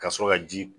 Ka sɔrɔ ka ji